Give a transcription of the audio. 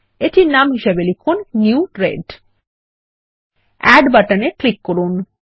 এটির নাম লিখুন নিউ রেড এড বাটন এ ক্লিক করুন